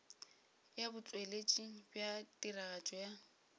ya botšweletši bja tiragatšo ya